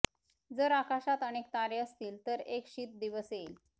जर आकाशात अनेक तारे असतील तर एक शीत दिवस येईल